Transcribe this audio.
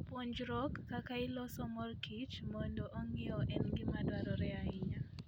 Puonjruok kaka iloso mor kich mondo ong'iew en gima dwarore ahinya.